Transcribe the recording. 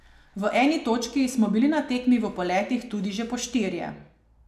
V eni točki smo bili na tekmi v poletih tudi že po štirje.